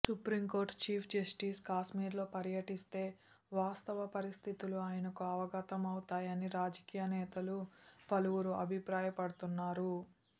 supreme court chief justice కాశ్మీర్లో పర్యటిస్తే వాస్తవ పరిస్థితులు ఆయనకు అవగతం అవుతాయని రాజకీయనేతలు పలువురు అభిప్రాయపడుతున్నారు